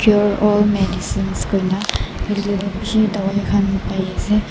cure all medicine koina paiase.